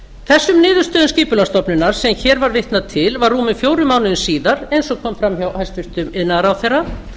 þessum niðurstöðu skipulagsstofnunar sem hér var vitnað til var rúmum fjórum mánuðum síðar eins og kom fram hjá hæstvirtur iðnaðarráðherra